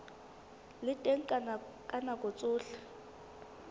le teng ka nako tsohle